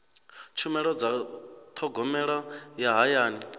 tshumelo dza thogomelo ya hayani